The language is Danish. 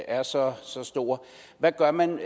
er så stor hvad gør man